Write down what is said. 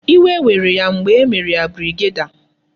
Iwe were ya mgbe e mere ya brigadier